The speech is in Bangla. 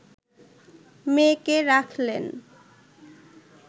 মেয়েকে রাখলেন